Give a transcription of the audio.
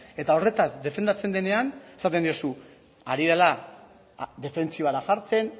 eta horretaz defendatzen denean esaten duzu ari dela defentsibara jartzen